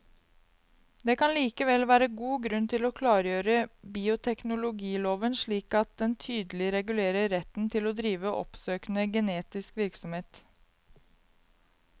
Det kan likevel være god grunn til å klargjøre bioteknologiloven slik at den tydelig regulerer retten til å drive oppsøkende genetisk virksomhet.